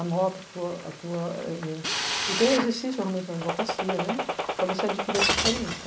anota a tua, a tua, eh eh o teu exercício realmente na advocacia, né, para você adquirir essa experiência.